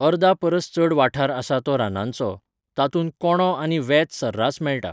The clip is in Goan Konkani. अर्दापरस चड वाठार आसा तो रानांचो, तातूंत कोंडो आनी वेत सर्रास मेळटा.